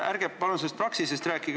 Ärge palun sellest Praxisest rääkige.